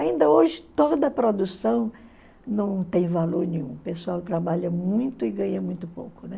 Ainda hoje toda produção não tem valor nenhum, o pessoal trabalha muito e ganha muito pouco.